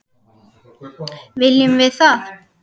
Viljum við það?